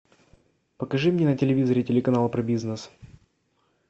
покажи мне на телевизоре телеканалы про бизнес